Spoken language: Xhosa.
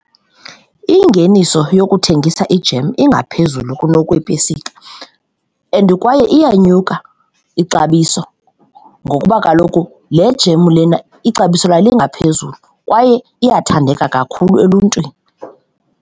Ingeniso yokuthengisa ijemu ingaphezulu kunokweepesika and kwaye iyanyuka ixabiso ngokuba kaloku le jemu lena ixabiso layo lingaphezulu kwaye iyathandeka kakhulu eluntwini.